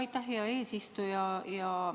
Aitäh, hea eesistuja!